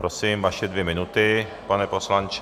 Prosím, vaše dvě minuty, pane poslanče.